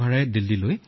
কোনো ধন নললে